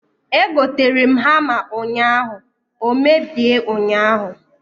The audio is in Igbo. Egoterem hama ụnyaahụ, o mebie ụnyaahụ